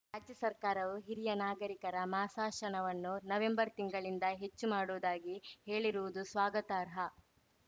ರಾಜ್ಯ ಸರ್ಕಾರವು ಹಿರಿಯ ನಾಗರಿಕರ ಮಾಸಾಶನವನ್ನು ನವೆಂಬರ್‌ ತಿಂಗಳಿಂದ ಹೆಚ್ಚು ಮಾಡುವುದಾಗಿ ಹೇಳಿರುವುದು ಸ್ವಾಗತಾರ್ಹ